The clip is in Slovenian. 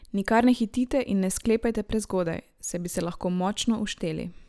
Nikar ne hitite in ne sklepajte prezgodaj, saj bi se lahko močno ušteli.